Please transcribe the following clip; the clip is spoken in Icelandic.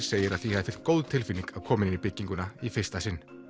segir að því hafi fylgt góð tilfinning að koma inn í bygginguna í fyrsta sinn